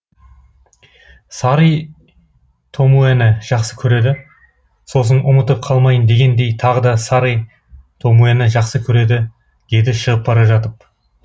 сари томуэні жақсы көреді сосын ұмытып қалмайын дегендей тағы да сари томуэні жақсы көреді деді шығып бара жатып